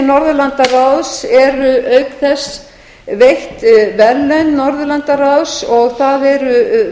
norðurlandaráðs eru á þess veitt verðlaun norðurlandaráðs og það eru